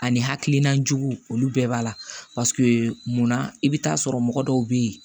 Ani hakilina juguw olu bɛɛ b'a la munna i bɛ taa sɔrɔ mɔgɔ dɔw bɛ yen